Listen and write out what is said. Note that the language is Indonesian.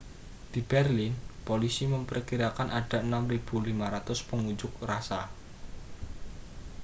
di berlin polisi memperkirakan ada 6.500 pengunjuk rasa